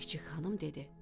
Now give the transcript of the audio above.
Çik-çik xanım dedi: